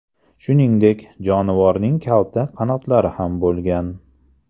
Shuningdek, jonivorning kalta qanotlari ham bo‘lgan.